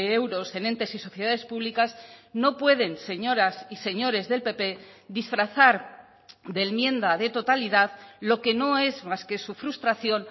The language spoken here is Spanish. euros en entes y sociedades públicas no pueden señoras y señores del pp disfrazar de enmienda de totalidad lo que no es más que su frustración